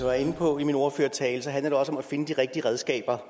var inde på i min ordførertale handler det også om at finde de rigtige redskaber